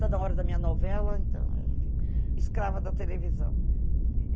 Toda hora da minha novela, então eu fico escrava da televisão.